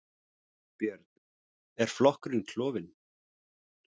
Björn: Er flokkurinn klofin?